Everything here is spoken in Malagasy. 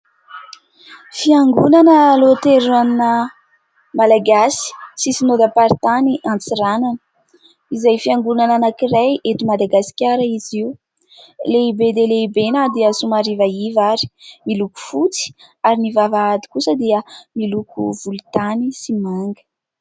fiangonana loaterana malagasy sy synodapartany antsiranana izay fiangonana anankiray ety madagaskara izy io lehibe dia lehibe na dia somarivaiva ary miloko fotsy ary ny vavahady kosa dia miloko volotany sy manga